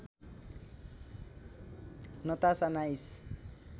Natasha nice